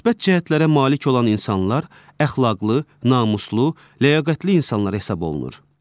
Müsbət cəhətlərə malik olan insanlar əxlaqlı, namuslu, ləyaqətli insanlar hesab olunur.